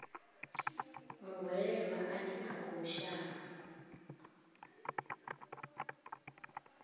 muhwelelwa ane a khou shavha